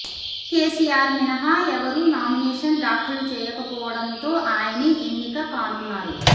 కేసిఆర్ మినహా ఎవరు నామినేషన్ దాఖలు చేయకపోవడంతో ఆయనే ఎన్నిక కానున్నారు